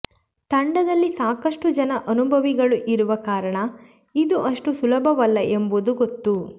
ತಂಡದಲ್ಲಿ ಸಾಕಷ್ಟು ಜನ ಅನುಭವಿಗಳು ಇರುವ ಕಾರಣ ಇದು ಅಷ್ಟು ಸುಲಭವಲ್ಲ ಎಂಬುದು ಗೊತ್ತು